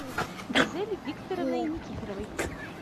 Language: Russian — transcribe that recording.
гузель викторовной никифоровой